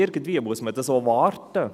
Irgendwie muss man dies auch warten.